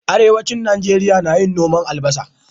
Arewacin Nigeria nayin noman albasa